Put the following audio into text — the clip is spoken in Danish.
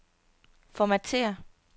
Formatér.